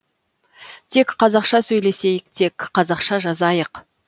тек қазақша сөйлесейік тек қазақша жазайық